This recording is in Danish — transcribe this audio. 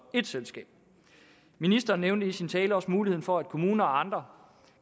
ét selskab ministeren nævnte i sin tale også muligheden for at kommuner og andre